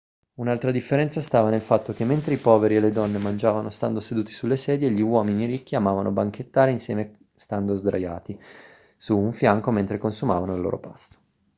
un'altra differenza stava nel fatto che mentre i poveri e le donne mangiavano stando seduti sulle sedie gli uomini ricchi amavano banchettare insieme stando sdraiati su un fianco mentre consumavano il loro pasto